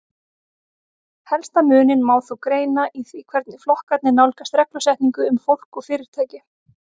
Helsta muninn má þó greina í því hvernig flokkarnir nálgast reglusetningu um fólk og fyrirtæki.